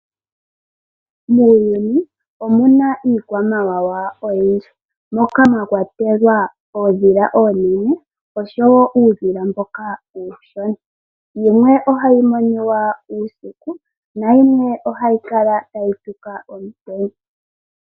Muuyuni omuna iikwamawawa oyindji. Moka mwa kwatelwa ondhila onene oshowo uudhila mboka uushona. Yimwe ohayi moniwa uusiku nayimwe ohayi kala tayi tuka omutenya.